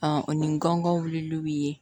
ni n gɔngɔn wulilaw ye